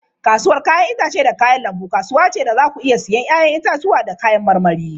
Kasuwar 'ya'yan itace da kayan lambu kasuwa ce da za ku iya siyan 'ya'yan itatuwa da kayan marmari.